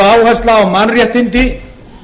áhersla á mannréttindi